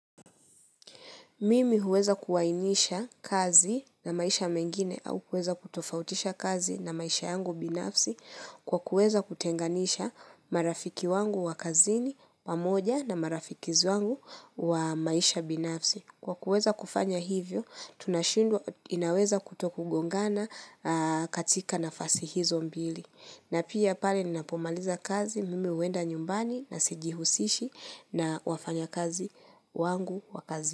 Mimi huweza kuwainisha kazi na maisha mengine au kuweza kutofautisha kazi na maisha yangu binafsi kwa kuweza kutenganisha marafiki wangu wa kazini pamoja na marafiki wangu wa maisha binafsi. Kwa kuweza kufanya hivyo, tunashindwa inaweza kutokugongana katika nafasi hizo mbili. Na pia pale ninapomaliza kazi, mimi huenda nyumbani na sijihusishi na wafanya kazi wangu wa kazini.